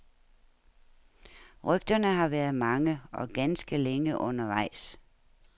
Rygterne har været mange, og ganske længe undervejs.